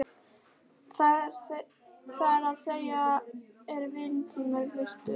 Það er að segja, er vinnutími virtur?